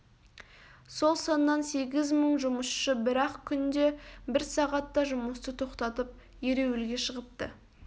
сол саннан сегіз мың жұмысшы бір-ақ күнде бір сағатта жұмысты тоқтатып ереуілге шығыпты